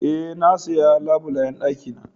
E,na siya labulen dakina.